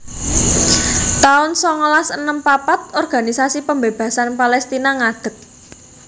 taun songolas enem papat Organisasi Pembebasan Palestina ngadeg